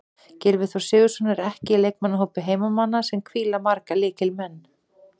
Gylfi Þór Sigurðsson er ekki í leikmannahópi heimamanna sem hvíla marga lykilmenn.